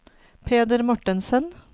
Peder Mortensen